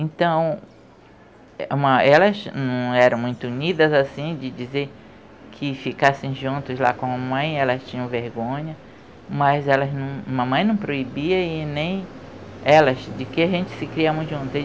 Então, elas não eram muito unidas, assim, de dizer que ficassem juntos lá com a mãe, elas tinham vergonha, mas elas não, mamãe não proibia e nem elas, de que a gente se criamos juntos.